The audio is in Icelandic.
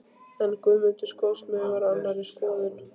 En Guðmundur skósmiður var á annarri skoðun.